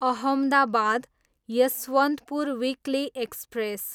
Ahmedabad, Yesvantpur weekly express